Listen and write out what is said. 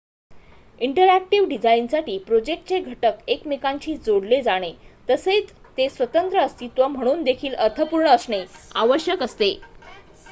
interactive डिझाईनसाठी प्रोजेक्टचे घटक एकमेकांशी जोडले जाणे तसेच ते स्वतंत्र अस्तित्व म्हणून देखील अर्थपूर्ण असणे आवश्यक असते